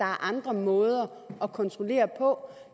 andre måder at kontrollere på